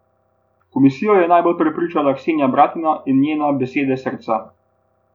Komisijo je najbolj prepričala Ksenija Bratina in njena Besede srca.